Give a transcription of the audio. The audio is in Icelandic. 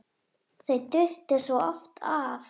Þau duttu svo oft af.